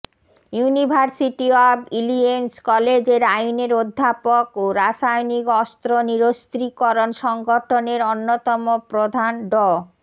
university of Illinois কলেজের আইনের অধ্যাপক ও রাসায়নিক অস্ত্র নিরস্ত্রীকরণ সংগঠনের অন্যতম প্রধান ড